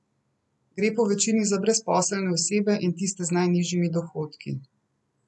Gre povečini za brezposelne osebe in tiste z najnižjimi dohodki.